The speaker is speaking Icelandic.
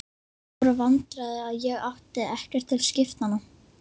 Það voru vandræði að ég átti ekkert til skiptanna.